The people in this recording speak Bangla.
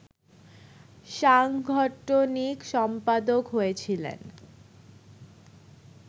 সাংগঠনিক সম্পাদক হয়েছিলেন